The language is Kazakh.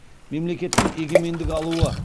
мемлекеттің егемендік алуы